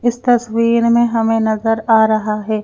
इस तस्वीर में हमें नजर आ रहा है।